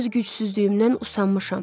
Öz gücsüzlüyümdən usanmışam.